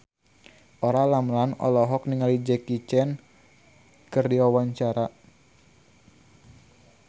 Olla Ramlan olohok ningali Jackie Chan keur diwawancara